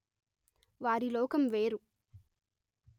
వారి లోకం వేరు